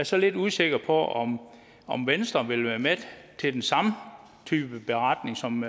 så lidt usikker på om om venstre vil være med til den samme type beretning som